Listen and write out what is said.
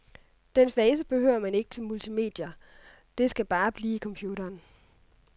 Den fase behøver man ikke til multimedier, det skal bare blive i computeren.